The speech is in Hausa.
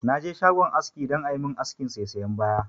Na je shagon aski dan a yi mun askin saisayan baya